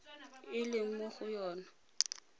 e leng mo go yona